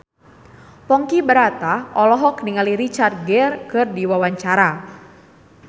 Ponky Brata olohok ningali Richard Gere keur diwawancara